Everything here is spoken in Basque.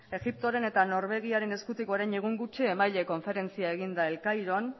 egiptoaren eta norvegiaren eskutik orain egun gutxi konferentzia eginda el cairon